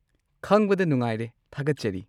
ꯈꯪꯕꯗ ꯅꯨꯡꯉꯥꯏꯔꯦ, ꯊꯥꯒꯠꯆꯔꯤ꯫